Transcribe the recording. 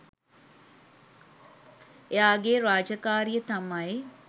එයාගේ රාජකාරිය තමයි